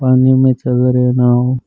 पानी में चल रहे नांव।